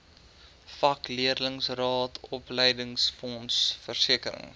vakleerlingraad opleidingsfonds versekering